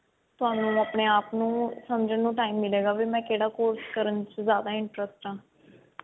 ਥੋਨੂੰ ਆਪਨੇ ਆਪ ਨੂੰ ਸਮਝਣ ਨੂੰ time ਮਿਲੇਗਾ ਵੀ ਮੈਂ ਕਿਹੜਾ course ਕਰਨ ਚ ਜਿਆਦਾ interest ਹਾਂ